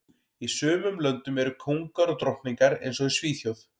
Í sumum löndum eru kóngar og drottningar eins og í Svíþjóð